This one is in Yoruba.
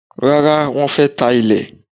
Rárá, wọ́n fẹ́ ta ilé.